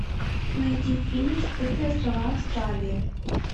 найди фильм скрытые острова австралии